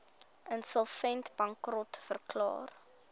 insolvent bankrot verklaar